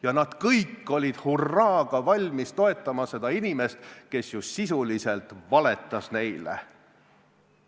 Ja nad kõik olid hurraaga valmis toetama seda inimest, kes sisuliselt nagu valetas neile.